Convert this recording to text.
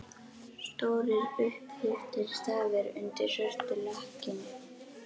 Stórir, upphleyptir stafir undir svörtu lakkinu!